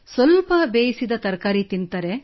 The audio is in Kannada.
ಸ್ವಲ್ಪ ಬೇಯಿಸಿದ ತರಕಾರಿ ತಿನ್ನುತ್ತಾರೆ